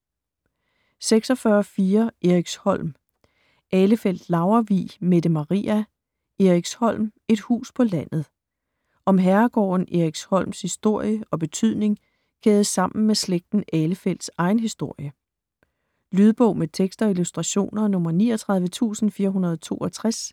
46.4 Eriksholm Ahlefeldt-Laurvig, Mette Maria: Eriksholm: et hus på landet Om herregården Eriksholms historie og betydning kædet sammen med slægten Ahlefeldts egen historie. Lydbog med tekst og illustrationer 39462